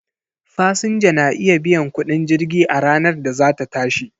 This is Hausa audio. Fasinja na iya biyan kudin jirgi a ranar da za ta tashi.